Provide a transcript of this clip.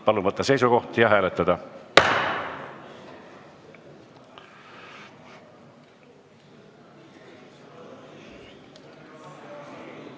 Palun võtta seisukoht ja hääletada!